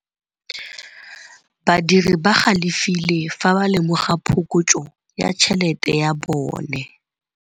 Badiri ba galefile fa ba lemoga phokotsô ya tšhelête ya bone.